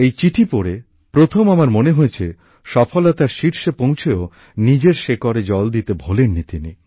এই চিঠি পড়ে প্রথম আমার মনে হয়েছে সফলতার শীর্ষে পৌঁছেও নিজের শেকড়ে জল দিতে ভোলেন নি তিনি